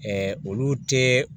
olu tɛ